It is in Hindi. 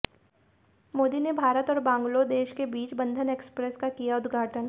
मोदी ने भारत और बांग्लोदेश के बीच बंधन एक्सप्रेस का किया उदघाटन